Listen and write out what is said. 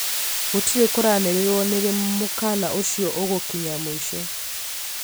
gũtire kũranĩrĩrwo nĩrĩ mũkana ũcio ũgũkinya mũico